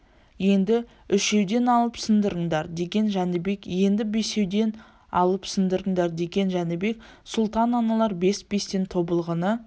енді үшеуден алып сындырыңдар деген жәнібек енді бесеуден алып сындырыңдар деген жәнібек сұлтан аналар бес-бестен тобылғыны